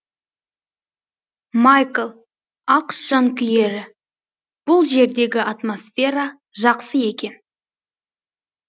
майкл ақш жанкүйері бұл жердегі атомсфера жақсы екен